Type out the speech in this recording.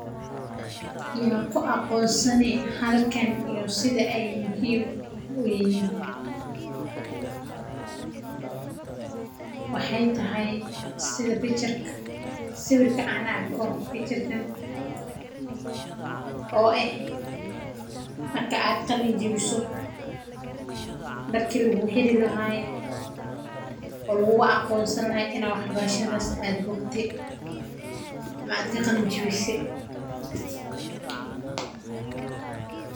Yaa ku aqoonsan halkan iyo sida aay muhiim uyihiin waxaay tahay sawirka aan arko oo ah marki aad qalin jabiso darki laguu xiri lahaay oo lagugu aqoonsan lahaa inaad bogte.